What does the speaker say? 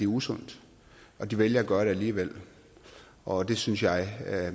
usundt men de vælger at gøre det alligevel og det synes jeg at